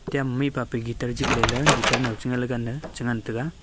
kem mihpapa gitar jikleyla gitar nouching gagan chi ngantaga.